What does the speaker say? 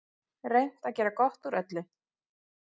Reynt að gera gott úr öllu.